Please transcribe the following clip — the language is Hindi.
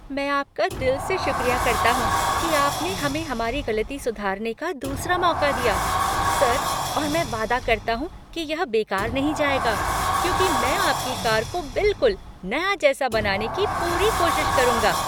मैं आपका दिल से शुक्रिया करता हूँ कि आपने हमें हमारी गलती सुधारने का दूसरा मौका दिया, सर और मैं वादा करता हूँ कि यह बेकार नहीं जाएगा, क्योंकि मैं आपकी कार को बिलकुल नया जैसा करने की पूरी कोशिश करूंगा!